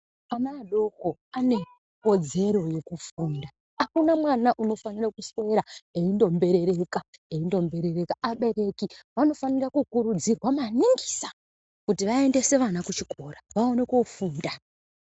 Ana adoko ane kodzero yekufunda, akuna mwana unofanire kuswera eindomberereka eindomberereka, abereki vanofanira kukurudzirwa manongisa kuti vaendese vana kuchikora vaende kofundisa.